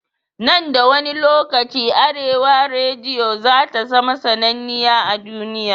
Nan da wani lokaci arewa rediyo zata zama sannaniya a duniya